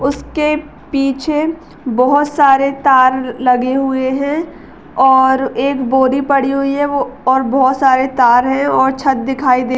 उसके पीछे बोहोत सारे तार लगे हुए है। और एक बोरी पड़ी हुई है वो और बोहोत सारे तार है। और छत दिखाई दे --